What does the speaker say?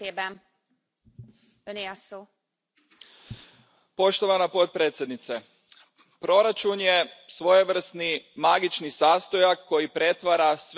Poštovana predsjedavajuća, proračun je svojevrsni magični sastojak koji pretvara sve deklarirane političke ciljeve u pravu stvarnost.